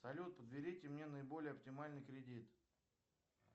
салют подберите мне наиболее оптимальный кредит